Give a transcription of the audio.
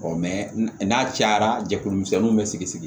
n'a cayara jɛkulu misɛnninw be sigi